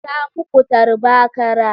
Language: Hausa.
Ta muku tarba/kara.